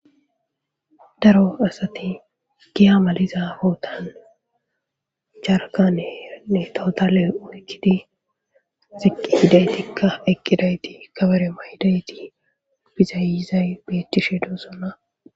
Daro asati giya maliza hootan jarkanene towotale oykkidi ziqqi gidaytikka eqqidayti kabare mayyidayti bizaayizay beettishe dosonna.